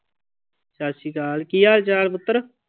ਸਤਿ ਸ਼੍ਰੀ ਅਕਾਲ, ਕੀ ਹਾਲ ਚਾਲ ਪੁੱਤਰ?